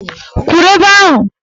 Kwuru ebe ahụ!